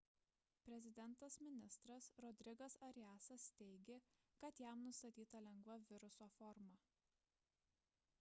prezidentas-ministras rodrigas ariasas teiigė kad jam nustatyta lengva viruso forma